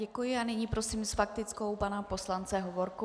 Děkuji a nyní prosím s faktickou pana poslance Hovorku.